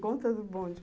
Conta do bonde.